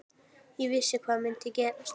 Ég vissi hvað myndi gerast.